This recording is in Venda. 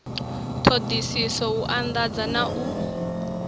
ṱhoḓisiso u anḓadza na u